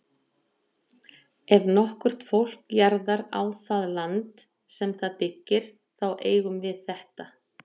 Ef nokkurt fólk jarðar á það land, sem það byggir, þá eigum við þetta.